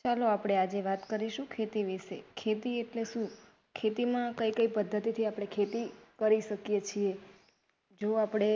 ચલો આજે આપડે વાત કરીશું. ખેતી વિશે ખેતી એટલે શું ખેતી માં કઈ કઈ પદ્ધતિથી આપડે ખેતી કરી શકીએ છીએ જો આપડે